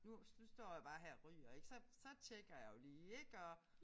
Nu nu står jeg jo bare her og ryger ik så så tjekker jeg jo lige ik og